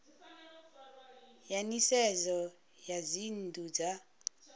ya nisedzo ya dzinnu dza